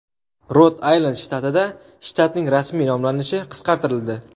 Rod-Aylend shtatida shtatning rasmiy nomlanishi qisqartirildi.